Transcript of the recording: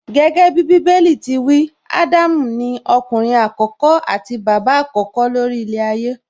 Gẹ́gẹ́bí Bíbélì ti wí, Ádámù ni ọkùnrin àkọ́kọ́ àti bàbá àkọ́kọ́ ló rí ilẹ̀ ayé